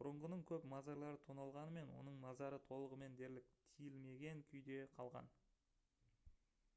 бұрынғының көп мазарлары тоналғанымен оның мазары толығымен дерлік тиілмеген күйде қалған